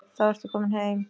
Þá ertu kominn heim.